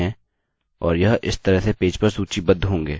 परिणाम कुछ इस तरह से नज़र आएगा